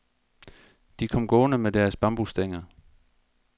De kom gående med deres bambusstænger.